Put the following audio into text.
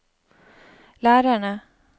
lærerne